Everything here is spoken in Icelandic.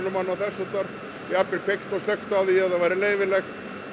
og annað þess háttar jafnvel kveikt og slökkt því ef það væri leyfilegt